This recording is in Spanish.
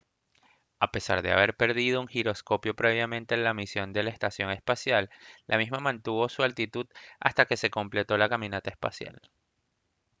a pesar de haber perdido un giroscopio previamente en la misión de la estación espacial la misma mantuvo su altitud hasta que se completó la caminata espacial